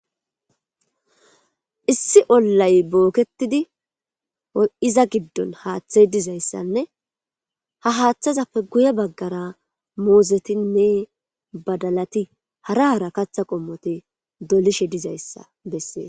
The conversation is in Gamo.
Issi olayi bokketidi iza giddoni haaththeyi dizayisanne ha haaththezappe guye bagara muzetinne badalati hara hara kaaththa qommoti dolishshe dizayisa besesi